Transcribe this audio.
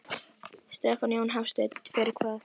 Stefán Jón Hafstein: Fyrir hvað?